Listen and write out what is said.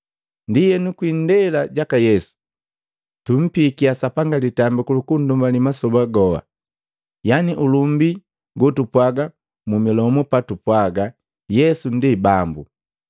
Ndienu kwi indela jaka Yesu, tumpiikiya Sapanga litambiku lu kundumbali masoba gowa, yani ulumbi go tupwagaa mu milomu patupwaga Yesu ndi Bambu.